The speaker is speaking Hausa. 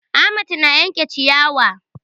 Ahmad na yanke ciyawa